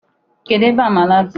Kedụ ebe amala dị?